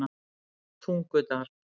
Tungudal